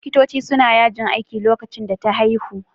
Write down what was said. Likitoci suna yajin aiki lokacin da ta haihu